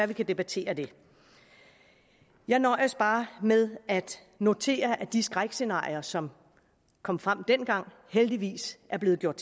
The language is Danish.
vi kan debattere det jeg nøjes bare med at notere at de skrækscenarier som kom frem dengang heldigvis er blevet gjort